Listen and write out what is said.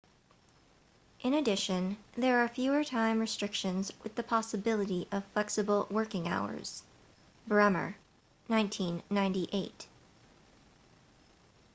in addition there are fewer time restrictions with the possibility of flexible working hours. bremer 1998